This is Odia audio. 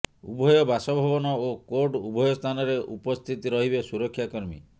ଉଭୟ ବାସଭବନ ଓ କୋର୍ଟ ଉଭୟ ସ୍ଥାନରେ ଉପସ୍ଥିତ ରହିବେ ସୁରକ୍ଷାକର୍ମୀ